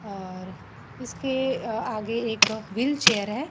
और इसके अ आगे एक व्हील चेयर है।